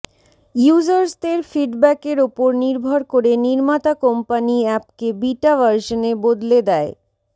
ইউজার্সদের ফিডব্যাকের ওপর নির্ভর করে নির্মাতা কোম্পানি অ্যাপকে বিটা ভার্শনে বদলে দেয়